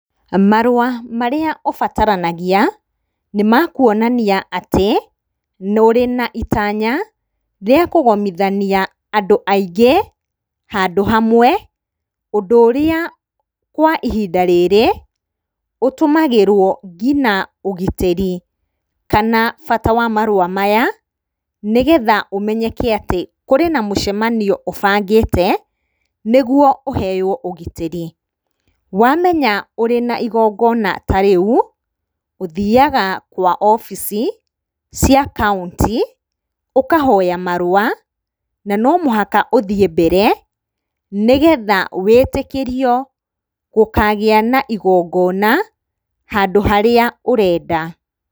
Marũa marĩa ũbataranagia nĩ makuonania atĩ nĩ ũrĩ na itanya rĩakũgomithania andũ aingĩ handũ hamwe ũndũ ũrĩa kwa ihinda rĩrĩ ũtũmagĩrwo nginya ũgitĩri. Kana bata wa marũa maya nĩgetha kũmenyeke atĩ kũrĩ na mũcemanio ũbangĩte nĩguo ũheywo ũgitĩri. Wamenya wĩna igongona ta rĩu ũthiaga kwa obici cia kauntĩ ũkahoya marũa na no mũhaka ũthiĩ mbere nĩgetha wĩtĩkĩrio gũkagĩa na igongona handũ harĩa ũrenda.